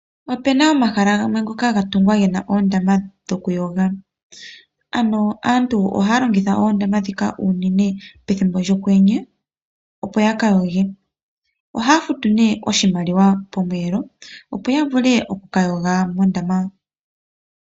Opena omahala gamwe ngoka ga tungwa gena oondama dhoku yoga, ano aantu ohaya longitha oondama dhika unene pethimbo lyo kwenye opo ya kayoge, ohaya futu ne oshimaliwa pomweelo opo ya vule oku kayoga mondama.